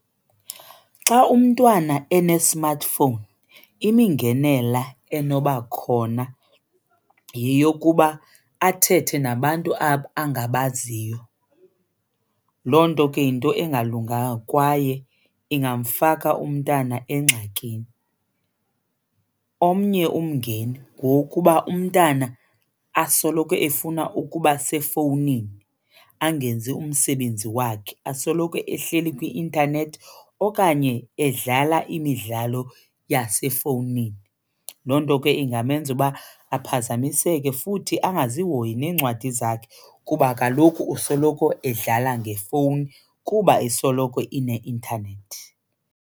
Xa umntwana ene-smartphone imingenela enoba khona yeyokuba athethe nabantu angabaziyo. Loo nto ke yinto engalungamga kwaye ingamfaka umntana engxakini. Omnye umngeni ngowokuba umntana asoloko efuna ukuba sefowunini angenzi umsebenzi wakhe, asoloko ehleli kwi-intanethi okanye edlala imidlalo yasefowunini. Loo nto ke ingamenza uba aphazamiseke futhi angazihoyi neencwadi zakhe kuba kaloku usoloko edlala ngefowuni kuba isoloko ineintanethi.